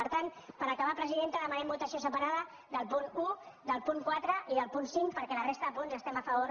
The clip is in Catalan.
per tant per acabar presidenta demanem votació separada del punt un del punt quatre i del punt cinc perquè de la resta de punts hi estem a favor i així ho votarem